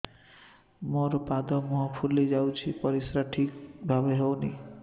ମୋର ପାଦ ମୁହଁ ଫୁଲି ଯାଉଛି ପରିସ୍ରା ଠିକ୍ ଭାବରେ ହେଉନାହିଁ